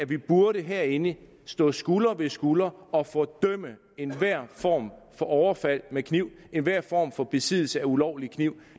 vi burde herinde stå skulder ved skulder og fordømme enhver form for overfald med kniv enhver form for besiddelse af ulovlig kniv